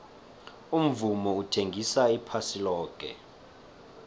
umvumo uthengisa iphasi loke